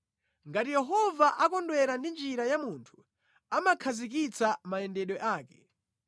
Ngati Yehova akondwera ndi njira ya munthu, amakhazikitsa mayendedwe ake;